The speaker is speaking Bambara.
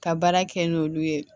Ka baara kɛ n'olu ye